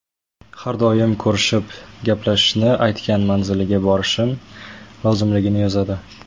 Har doim ko‘rishib gaplashishni, aytgan manziliga borishim lozimligini yozadi.